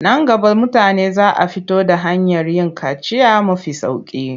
Nan gaba mutane za a fito da hanyar yin kaciya mafi sauƙi.